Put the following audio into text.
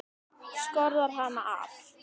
Skorðar hann af.